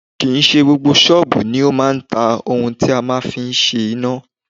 Kì í ṣe gbogbo ṣọ́ọ̀bù ni ó máa ń ta ohun tí a máa ń fi ń ṣe iná